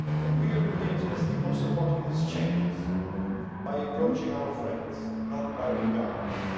We Europeans must keep on supporting these changes by approaching our friends, not by repelling them.